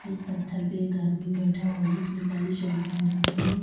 इस पत्थर पे एक आदमी बैठा हुआ जिसने काली शर्ट पहन रखी है।